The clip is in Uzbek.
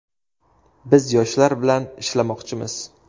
Biz yoshlar bilan ishlamoqchimiz.